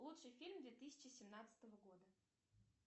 лучший фильм две тысячи семнадцатого года